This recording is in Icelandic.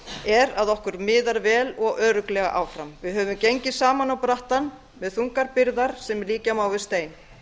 er að okkur miðar vel og örugglega áfram við höfum gengið saman á brattan með þungar byrðar sem líkja má við stein